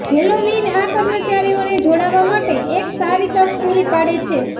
Halloween આ કર્મચારીઓને જોડાવા માટે એક સારી તક પૂરી પાડે છે